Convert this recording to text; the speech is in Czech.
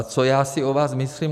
A co já si o vás myslím?